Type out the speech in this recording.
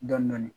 Dɔɔnin dɔɔnin